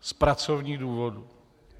Z pracovních důvodů.